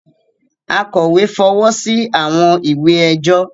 Akọ̀wé fọwọ́ sí àwọn ìwé ẹjọ́